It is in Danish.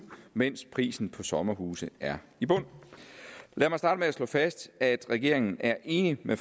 mens priserne på sommerhuse er i bund lad mig starte med at slå fast at regeringen er enig med